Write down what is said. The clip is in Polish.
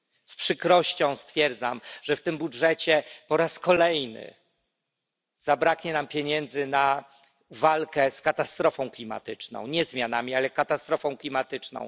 Z przykrością stwierdzam, że w tym budżecie po raz kolejny zabraknie nam pieniędzy na walkę z katastrofą klimatyczną nie zmianami, ale katastrofą klimatyczną.